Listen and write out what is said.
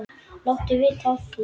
Láttu vita af því.